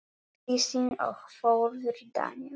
Kristín og Þórður Daníel.